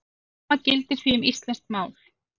Hið sama gildir því um íslenskt mál.